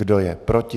Kdo je proti?